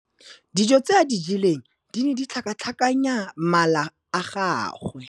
Dijô tse a di jeleng di ne di tlhakatlhakanya mala a gagwe.